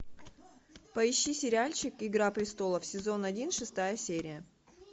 поищи сериальчик игра престолов сезон один шестая серия